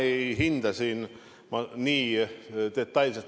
Ei, mina ei hinda nii detailselt.